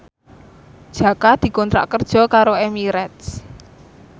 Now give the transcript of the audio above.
Jaka dikontrak kerja karo Emirates